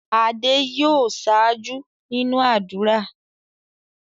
Adé yòó ṣáájú nínú ádùrá.